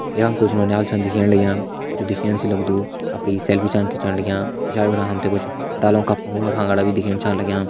यहाँ कुछ नोनीहाल छन दिखेण लग्यां जू दिखेण से लग्दु अपनी सेल्फी छन खींचण लग्यां पिछाड़ी फणा हम तैं कुछ डालों का फुंगणा-फांगणा भी दिखेण लग्यां।